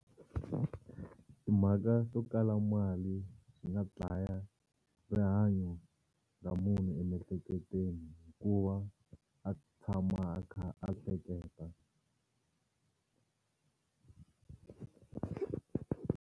Timhaka to kala mali swi nga dlaya rihanyo ra munhu emiehleketweni hikuva a tshama a kha a hleketa.